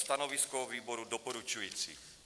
Stanovisko výboru doporučující.